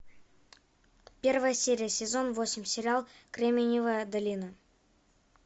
первая серия сезон восемь сериал кремниевая долина